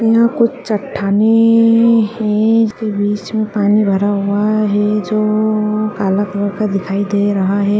यहाँ कुछ चट्टानें हैं जिसमें बीच में पानी भरा हुआ है जो काला कलर का दिखाई दे रहा है।